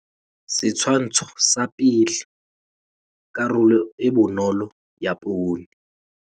Setshwantsho sa 1. Karolo e bonolo ya poone.